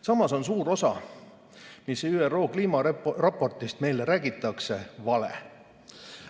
Samas on suur osa sellest, mida ÜRO kliimaraportis meile räägitakse, vale.